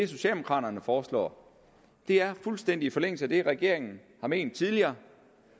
socialdemokraterne foreslår er fuldstændig i forlængelse af det som regeringen har ment tidligere